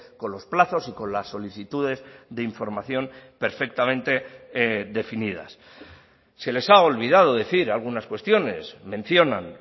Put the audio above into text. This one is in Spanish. con los plazos y con las solicitudes de información perfectamente definidas se les ha olvidado decir algunas cuestiones mencionan